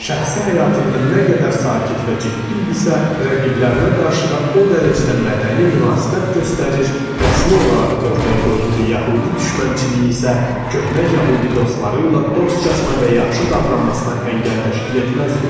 Şəxsi həyatında nə qədər sakit və ciddi idisə, rəqiblərinə qarşı da o dərəcədə mədəni münasibət göstərir, rəsmi olaraq ortaya qoyduğu yəhudi düşmənçiliyi isə köhnə yəhudi dostları ilə dostcasına və yaxşı davranmasına əngəl təşkil etməzdi.